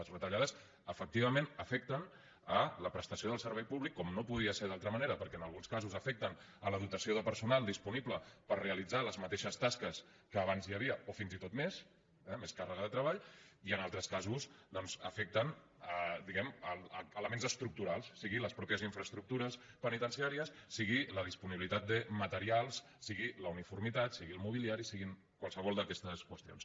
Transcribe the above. les retallades efectivament afecten la prestació del servei públic com no podia ser d’altra manera perquè en alguns casos afecten la dotació de personal disponible per realitzar les mateixes tasques que abans hi havia o fins i tot més eh més càrrega de treball i en altres casos doncs afecten diguem ne elements estructurals siguin les mateixes infraestructures penitenciàries sigui la disponibilitat de materials sigui la uniformitat sigui el mobiliari sigui qualsevol d’aquestes qüestions